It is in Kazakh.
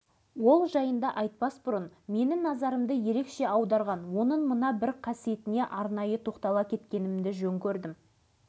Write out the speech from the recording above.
ешқашан ауытқымайтын ауытқи алмайтын адам екендігіне аз уақыт таныстығымның ішінде менің де көзім жете түсті